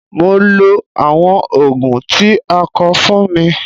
Mo lo àwọn Ògùn tí a kọ fún mi.